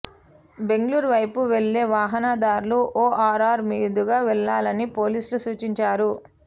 బెంగళూరు వైపు వెళ్లే వాహనదారులు ఓఆర్ఆర్ మీదుగా వెళ్లాలని పోలీసులు సూచించారు